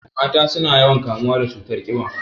Mata suna yawan kamuwa da cutar ƙiba